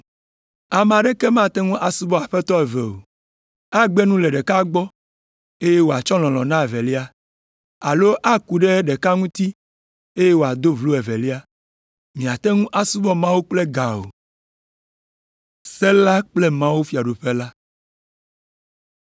“Ame aɖeke mate ŋu asubɔ aƒetɔ eve o. Agbe nu le ɖeka gbɔ, eye wòatsɔ lɔlɔ̃ na evelia, alo aku ɖe ɖeka ŋuti, eye wòado vlo evelia. Miate ŋu asubɔ Mawu kple ga o.”